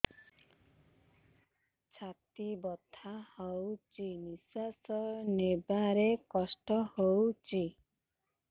ଛାତି ବଥା ହଉଚି ନିଶ୍ୱାସ ନେବାରେ କଷ୍ଟ ହଉଚି